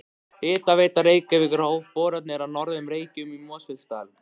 Hitaveita Reykjavíkur hóf boranir á Norður Reykjum í Mosfellsdal.